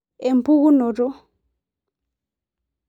Empukunoto I/IIX.